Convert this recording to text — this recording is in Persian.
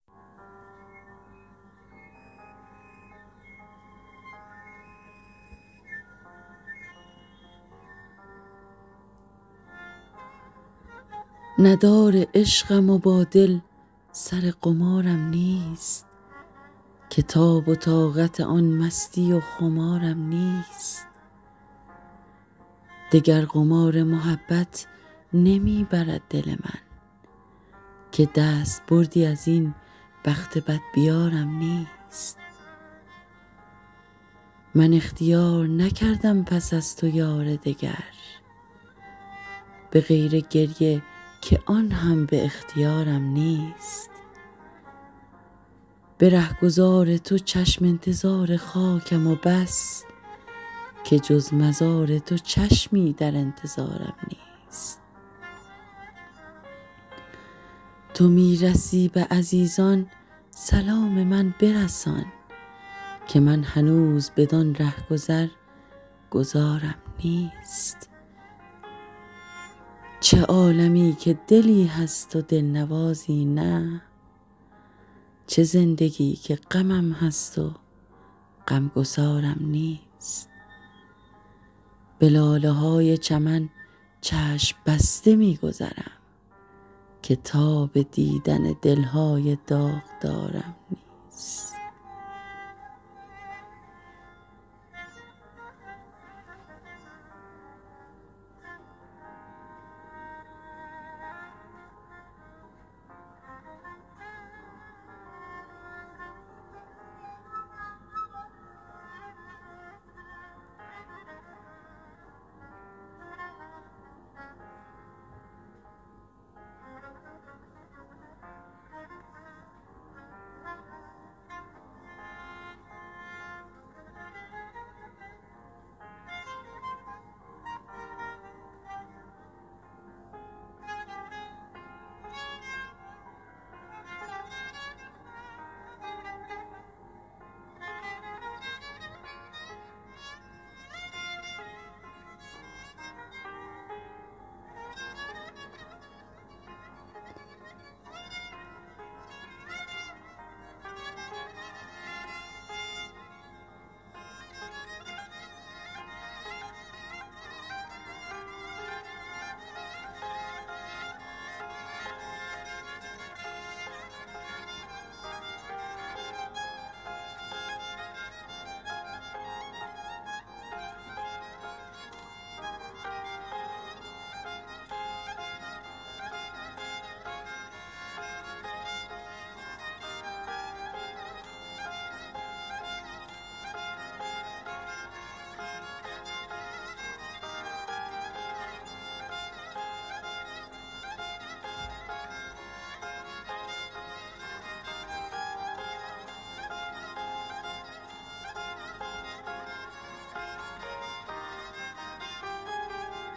ندار عشقم و با دل سر قمارم نیست که تاب و طاقت آن مستی و خمارم نیست دگر قمار محبت نمی برد دل من که دست بردی از این بخت بدبیارم نیست حساب جاری من گو ببند باجه بانک که من به بودجه عمر اعتبارم نیست من اختیار نکردم پس از تو یار دگر به غیر گریه که آن هم به اختیارم نیست جهان فریب دهد آدمی به نقش و نگار مرا چه نقش فریبنده چون نگارم نیست به رهگذار تو چشم انتظار خاکم و بس که جز مزار تو چشمی در انتظارم نیست تو می رسی به عزیزان سلام من برسان که من هنوز بدان رهگذر گذارم نیست قطار قافله همرهان مرا بگذشت که من بلیت و گذرنامه قطارم نیست چه عالمی که دلی هست و دلنوازی نه چه زندگی که غمم هست و غمگسارم نیست به لاله های چمن چشم بسته می گذرم که تاب دیدن دل های داغدارم نیست غزال من تو چه شاخ نبات بودی حیف که من چو خواجه غزل های شاهکارم نیست ز نام بردن خود نیز شرمم آید و ننگ که شهریارم و آن شعر شهریارم نیست